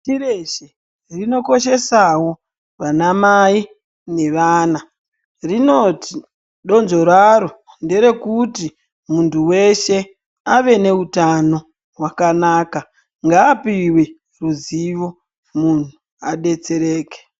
Pashi reshe rinokoshesawo vana mai nevana rinoti donzvo raro nderkuti muntu weshe ave neutano hwakana ngaapiwe ruzivo muntu abetsereke.